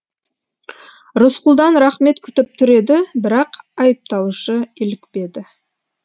рысқұлдан рақмет күтіп тұр еді бірақ айыпталушы илікпеді